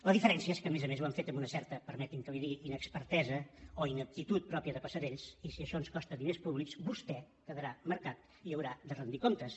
la diferència és que a més a més ho han fet amb una certa permeti’m que li ho digui inexpertesa o ineptitud pròpia de passerells i si això ens costa diners públics vostè quedarà marcat i haurà de rendir comptes